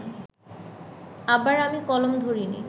আবার আমি কলম ধরিনি